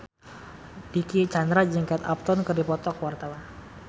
Dicky Chandra jeung Kate Upton keur dipoto ku wartawan